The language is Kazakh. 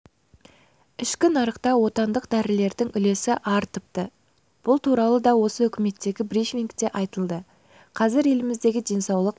ішкі нарықта отандық дәрілердің үлесі артыпты бұл туралы да осы үкіметтегі брифингте айтылды қазір еліміздегі денсаулық